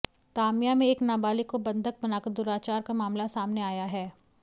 तामिया में एक नाबालिग को बंधक बनाकर दुराचार का मामला सामने आया है